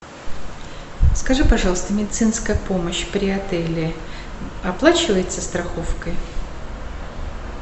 скажи пожалуйста медицинская помощь при отеле оплачивается страховкой